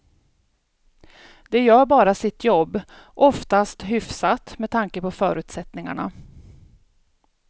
De gör bara sitt jobb, oftast hyfsat med tanke på förutsättningarna.